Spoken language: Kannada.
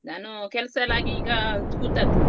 ನಾನು ಕೆಲ್ಸಯೆಲ್ಲ ಆಗಿ ಈಗ ಕೂತದ್ದು.